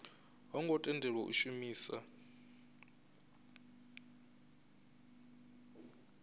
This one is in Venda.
ho ngo tendelwa u shumisa